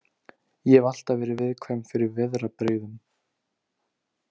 Ég hef alltaf verið viðkvæm fyrir veðrabrigðum.